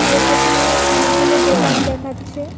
এর পেছনে অনেকগুলো দোকান দেখাচ্ছে।